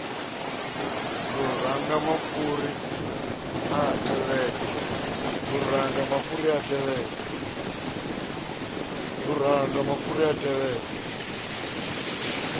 luranga mafhuri a a tevhela